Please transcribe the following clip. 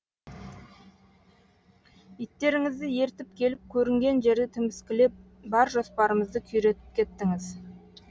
иттеріңізді ертіп келіп көрінген жерді тіміскілеп бар жоспарымызды күйретіп кеттіңіз